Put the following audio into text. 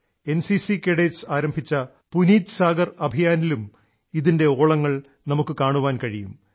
NCC കേഡറ്റുകൾ ആരംഭിച്ച പുനീത് സാഗർ അഭിയാൻലും ഇതിൻറെ ഓളങ്ങൾ നമ്മൾക്കു കാണാൻ കഴിയും